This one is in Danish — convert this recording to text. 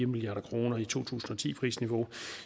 milliard kroner i to tusind og ti prisniveau